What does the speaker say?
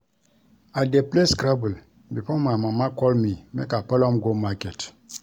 I dey play scrabble before my mama call me make I follow am go market